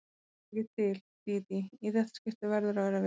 Það dugar ekki til, Dídí, í þetta skipti verðurðu að vera viss.